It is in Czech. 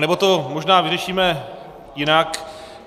Anebo to možná vyřešíme jinak.